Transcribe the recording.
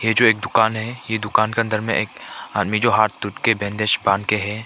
ये जो एक दुकान है ये दुकान के अंदर में एक आदमी जो हाथ टूट के बैंडेज बांध के है।